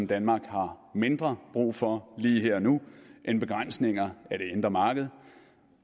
danmark har mindre brug for lige her og nu end begrænsninger af det indre marked